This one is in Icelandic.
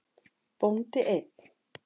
Bóndi einn.